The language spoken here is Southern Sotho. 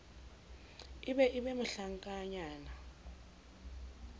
e be e be mohlankanyana